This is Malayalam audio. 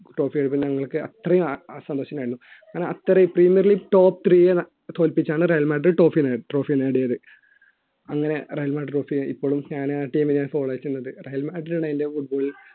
trophy എടുത്തപ്പോൾ ഞങ്ങൾക്ക് അത്രയും സന്തോഷം ആയിരുന്നു കാരണം അത്രയും premier league top three യെ തോൽപ്പിച്ചാണ് റയൽ മാഡ്രിഡ് trophy നേടിയത് റയൽ മാഡ്രിഡ് trophy ആയി ഇപ്പോഴും ഞാൻ ആ team നെയാണ് follow ചെയ്യുന്നത് റയൽ മാഡ്രിഡ് ആണ് എൻറെ football